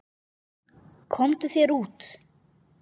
Komdu þér út.